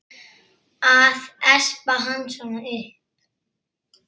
Að espa hann svona upp!